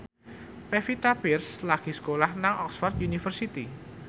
Pevita Pearce lagi sekolah nang Oxford university